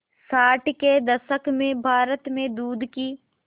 साठ के दशक में भारत में दूध की